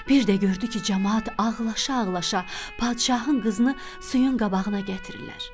Bir də gördü ki, camaat ağlaşa-ağlaşa padişahın qızını suyun qabağına gətirirlər.